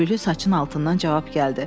Köpüklü saçın altından cavab gəldi.